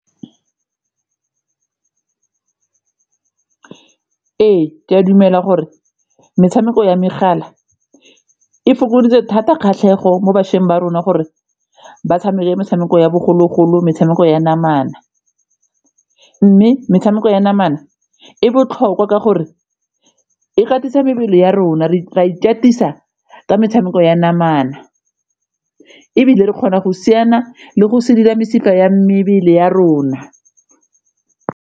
Ee, ke a dumela gore metshameko ya megala e fokoditse thata kgatlhego mo bašweng ba rona gore ba tshameke metshameko ya bogologolo, metshameko ya namana mme metshameko ya namana e botlhokwa ka gore e katisa mebele ya rona re a ikatisa ka metshameko ya namana ebile re kgona go siana le go sedila mesifa ya mebele ya rona.